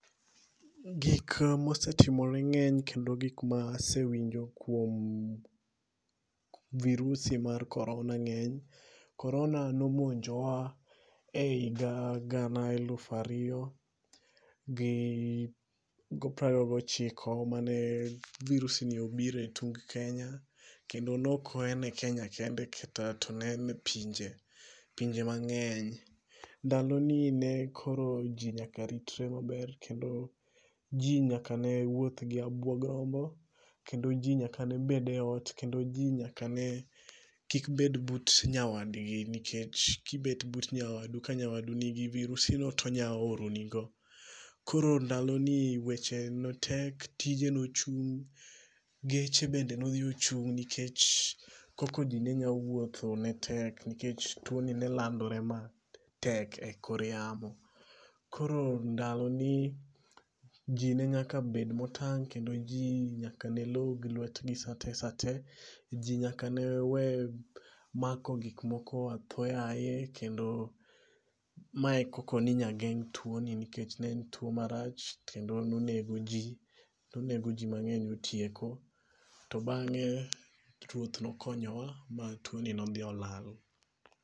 Gik mosetimore ng'eny kendo gik masewinjo kuom virusi mar corona ng'eny. Corona nomonjowa e higa gana eluf ariyo gi prariyo gochiko mane virusi ni obiro tung' Kenya. Kendo ne ok en e Kenya kende to ne en e pinje, pinje mang'eny. Ndalo ni ne koro ji nyaka ritre maber. Kendo ji nyaka ne wuoth gi abuoga rombo. Kendo ji ne nyaka bed e ot. Kend ji nyaka ne kik bed but nyawadgi nikech kibet but nyawadu ka nyawadu ni gi virusi no to onya origo ni go. Koro ndalo ni weche ne tek. Tije nochung'. Geche bende no dhi ochung' nikech koko ji ne nya wuotho ne tek nikech tuo ni nelandore matek e kor yamo. Koro ndaloni ji ne nyaka bed motang'. Kendo ji nyaka ne log lwet gi sate sate. Ji nyaka ne we mako gik moko atho yaye. Kendo mae koko ni nya geng' tuo ni nikech ne en tuo marach kendo nonego ji. Nonego ji mang'eny otieko. To bang'e ruoth nokonyowa ma tuo ni nodhi olala.